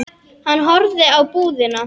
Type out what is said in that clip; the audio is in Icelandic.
Hann horfði á búðina.